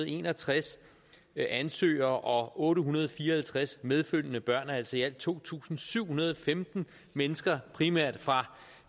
en og tres ansøgere og otte hundrede og fire og halvtreds medfølgende børn altså i alt to tusind syv hundrede og femten mennesker primært fra